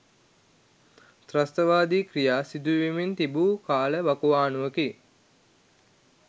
ත්‍රස්තවාදී ක්‍රියා සිදුවෙමින් තිබු කාල වකවානුවකි.